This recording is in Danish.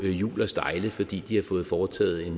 hjul og stejle fordi de har fået foretaget